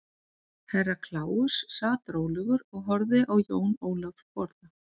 Herra Kláus sat rólegur og horfði á Jón Ólaf borða.